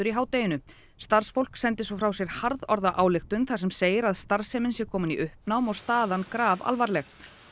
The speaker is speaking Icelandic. í hádeginu starfsfólk sendi svo frá sér harðorða ályktun þar sem segir að starfsemin sé komin í uppnám og staðan grafalvarleg